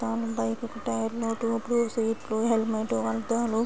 తాను bike tyre ట్యూబ్ల్యూ seat లు హెల్మెంట్ అద్దాలు --